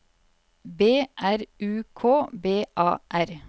B R U K B A R